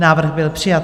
Návrh byl přijat.